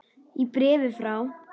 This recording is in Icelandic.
Í bréfi frá